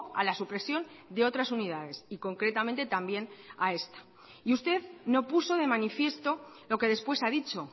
a la supresión de otras unidades y concretamente también a esta y usted no puso de manifiesto lo que después ha dicho